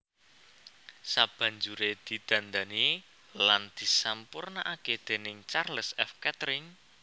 Sabanjuré didandani lan disampurnakaké déning Charles F Kettering